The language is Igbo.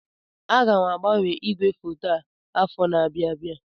Aga m agbanwe ígwèfoto a afọ na-abịa abịa.